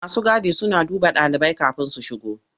Masu gadi suna duba ɗalibai kafin su shigo.